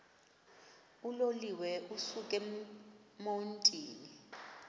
uloliwe ukusuk emontini